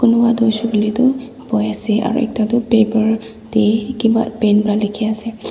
kunuba toh hoishe koile toh buhie ase aro ekta toh paper te kiba pen para likhi ase.